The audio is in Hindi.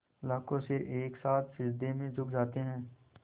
लाखों सिर एक साथ सिजदे में झुक जाते हैं